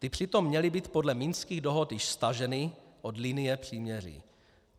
Ty přitom měly být podle minských dohod již staženy od linie příměří.